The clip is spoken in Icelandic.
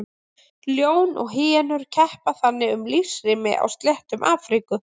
Ljón og hýenur keppa þannig um lífsrými á sléttum Afríku.